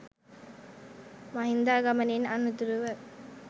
මහින්දාගමනයෙන් අනතුරුව